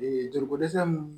Ee joliko dɛsɛ